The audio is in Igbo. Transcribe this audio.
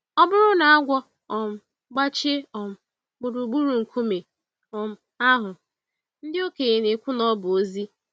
Ọ bụrụ na agwọ um gbachie um gburugburu nkume um ahụ, ndị okenye na-ekwu na ọ bụ ozi.